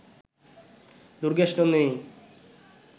Durgeshnandini